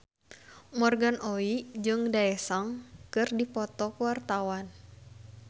Morgan Oey jeung Daesung keur dipoto ku wartawan